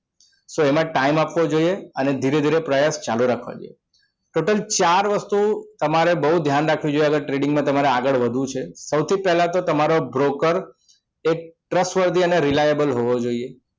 so એમાં time આપવો જોઈએ અને ધીરે ધીરે પ્રયાસ ચાલુ રાખવો જોઈએ total ચાર વસ્તુ તમારે બહુ ધ્યાન રાખવી જોઈએ અગર trading માં તમારે આગળ વધવું છે સૌથી પહેલા તો તમારો broker એક trustworthy and reliable હોવા જોઈએ